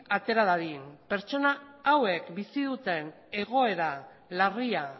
atera dadin pertsona hauek bizi duten egoera larria